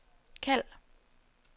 kald